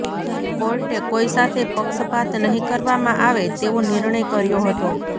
કોર્ટે કોઇ સાથે પક્ષપાત નહિ કરવામાં આવે તેવો નિર્ણય કર્યો હતો